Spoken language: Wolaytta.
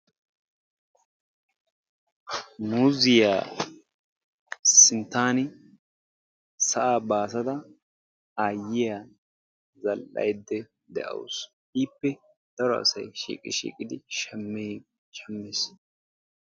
Muuzziyaa sinttaani sa'aa baassada aayiyaa zal"ayde de'awus. Ippe daro asay shiiqi shiiqidi shammii shammees.